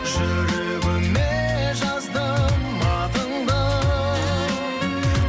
жүрегіме жаздым атыңды